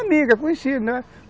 Amigo, conhecido, né?